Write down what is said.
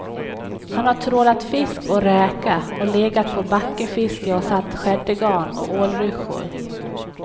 Han har trålat fisk och räka och legat på backefiske och satt skäddegarn och ålryssjor.